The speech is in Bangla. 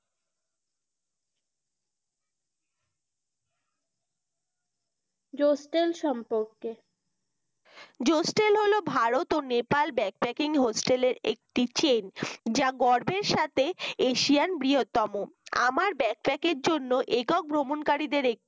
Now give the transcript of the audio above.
যষ্টেল সম্পর্কে যষ্টেল হল ভারত ও নেপাল backpacking hostel এর একটি chain যা গর্বের সাথে এশিয়ার বৃহত্তম আমার backpack জন্য একক ভ্রমণকারীদের